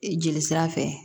Jeli sira fɛ